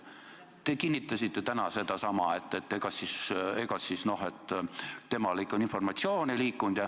Te kinnitasite täna sedasama, et tõesti informatsioon ei liikunud.